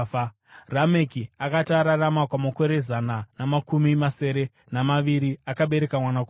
Rameki akati ararama kwamakore zana namakumi masere namaviri, akabereka mwanakomana.